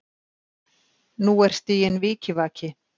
Og nú er stiginn vikivaki.